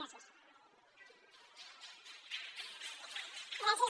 gràcies